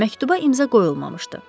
Məktuba imza qoyulmamışdı.